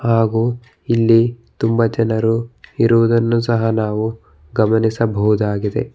ಹಾಗು ಇಲ್ಲಿ ತುಂಬ ಜನರು ಇರುವುದನ್ನು ಸಹ ನಾವು ಗಮನಿಸಬಹುದಾಗಿದೆ.